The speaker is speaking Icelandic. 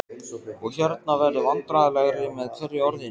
og- hérna- verður vandræðalegri með hverju orðinu.